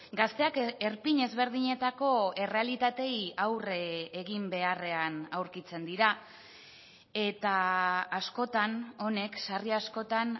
gazteak erpin ezberdinetako errealitateei aurre egin beharrean aurkitzen dira eta askotan honek sarri askotan